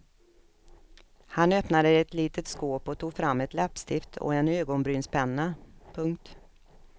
Han öppnade ett litet skåp och tog fram ett läppstift och en ögonbrynspenna. punkt